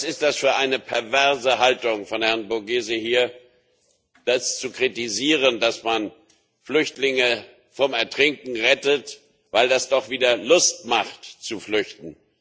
Was ist das für eine perverse Haltung von Herrn Borghezio, zu kritisieren, dass man Flüchtlinge vor dem Ertrinken rettet, weil das doch wieder Lust macht, zu flüchten?